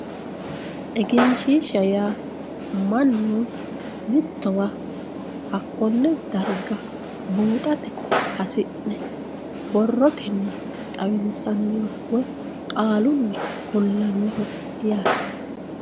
egenshiishsha yaa mannu mittowa hakkonne darga buuxate hasi'ne borrotenni xawinsanniwa woy qaalunni kullannowa yaate.